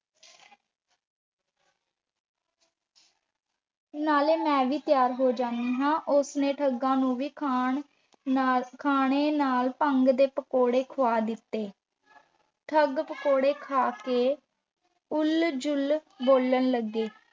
ਨਾਲੇ ਮੈਂ ਵੀ ਤਿਆਰ ਹੋ ਜਾਂਦੀ ਹਾਂ। ਉਸ ਨੇ ਠੱਗਾਂ ਨੂੰ ਵੀ ਖਾਣ ਨਾਲ ਖਾਣੇ ਨਾਲ ਭੰਗ ਦੇ ਪਕੌੜੇ ਖੁਆ ਦਿੱਤੇ। ਠੱਗ ਪਕੌੜੇ ਖਾ ਕੇ ਉਲ- ਜਲੂਲ ਬੋਲਣ ਲੱਗੇ